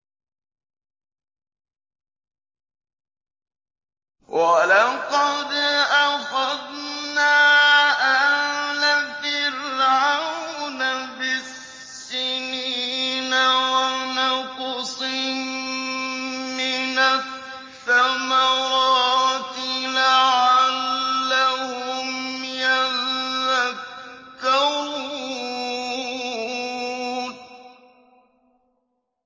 وَلَقَدْ أَخَذْنَا آلَ فِرْعَوْنَ بِالسِّنِينَ وَنَقْصٍ مِّنَ الثَّمَرَاتِ لَعَلَّهُمْ يَذَّكَّرُونَ